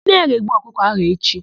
Nne ya ga-egbu ọkụkọ áhụ̀ echi.